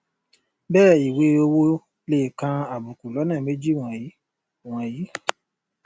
bẹẹ ìwé owo lè kan àbùkù lọnà méjì wọnyìí wọnyìí